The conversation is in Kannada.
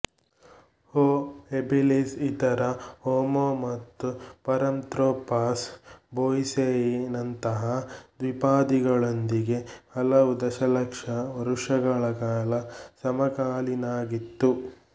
ಹೋ ಹೆಬಿಲಿಸ್ ಇತರ ಹೋಮೋ ಮತ್ತು ಪರಾಂತ್ರೋಪಸ್ ಬೋಯಿಸೇಯಿನಂತಹ ದ್ವಿಪಾದಿಗಳೊಂದಿಗೆ ಹಲವು ದಶಲಕ್ಷ ವರುಷಗಳ ಕಾಲ ಸಮಕಾಲೀನಾಗಿತ್ತು